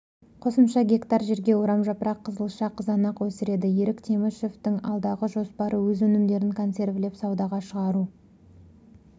қосымша гектар жерге орамжапырақ қызылша қызанақ өсіреді ерік темішевтің алдағы жоспары өз өнімдерін консервілеп саудаға шығару